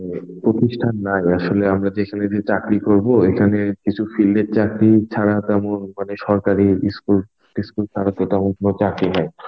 মানে প্রতিষ্ঠান নাই আসলে আমরা যেখানে গিয়ে চাকরি করবো এখানে কিছু field এর চাকরি ছাড়া তেমন মানে সরকারি School টিস্কুল তরফে তেমন কোনো চাকরি নেই.